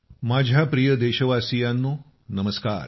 माझ्या प्रिय देशवासियांनो नमस्कार